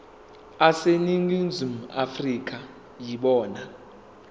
aseningizimu afrika yibona